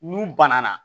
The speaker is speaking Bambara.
N'u banana